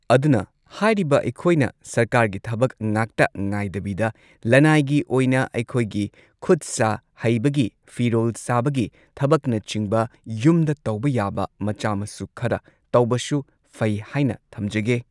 ꯑꯗꯨꯅ ꯍꯥꯏꯔꯤꯕ ꯑꯩꯈꯣꯏꯅ ꯁꯔꯀꯥꯔꯒꯤ ꯊꯕꯛ ꯉꯥꯛꯇ ꯉꯥꯏꯗꯕꯤꯗ ꯂꯅꯥꯏꯒꯤ ꯑꯣꯏꯅ ꯑꯩꯈꯣꯏꯒꯤ ꯈꯨꯠ ꯁꯥ ꯍꯩꯕꯒꯤ ꯐꯤꯔꯣꯜ ꯁꯥꯕꯒꯤ ꯊꯕꯛꯅꯆꯤꯡꯕ ꯌꯨꯝꯗ ꯇꯧꯕ ꯌꯥꯕ ꯃꯆꯥ ꯃꯁꯨ ꯈꯔ ꯇꯧꯕꯁꯨ ꯐꯩ ꯍꯥꯏꯅ ꯊꯝꯖꯒꯦ